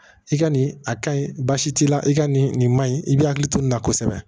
I ka nin a ka ɲi basi t'i la i ka nin nin maɲi i b'i hakili to nin na kosɛbɛ